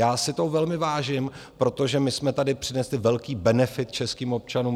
Já si toho velmi vážím, protože my jsme tady přinesli velký benefit českým občanům.